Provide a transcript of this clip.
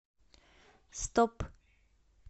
стоп